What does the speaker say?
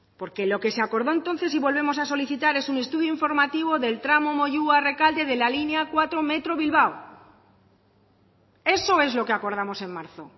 porque lo se acordó entonces y volvemos a solicitar es un estudio informativo del tramo moyua rekalde de la línea cuatro metro bilbao eso es lo que acordamos en marzo